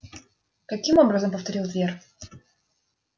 каким образом повторил твер